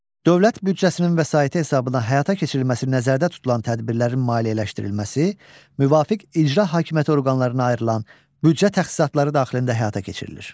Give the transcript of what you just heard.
Dövlət büdcəsinin vəsaiti hesabına həyata keçirilməsi nəzərdə tutulan tədbirlərin maliyyələşdirilməsi müvafiq icra hakimiyyəti orqanlarına ayrılan büdcə təxsisatları daxilində həyata keçirilir.